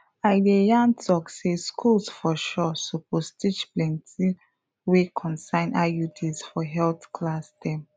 i de yan tok say schools for sure suppose teach plenti wey concern iuds for health class dem